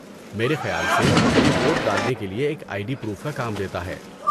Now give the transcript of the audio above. میرے خیال سے یہ ووٹ ڈالنے کے لیے ایک آئی ڈی پروف کا کام دیتا ہے۔